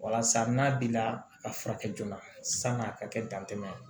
Walasa n'a bi la a ka furakɛ joona san'a ka kɛ dantɛmɛ ye